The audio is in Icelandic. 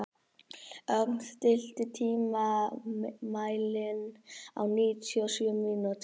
Ögn, stilltu tímamælinn á níutíu og sjö mínútur.